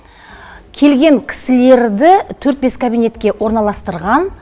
келген кісілерді төрт бес кабинетке орналастырған